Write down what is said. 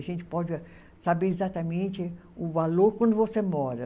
A gente pode saber exatamente o valor quando você mora.